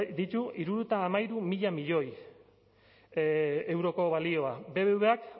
ditu hirurogeita hamairu mila milioi euroko balioa bbvak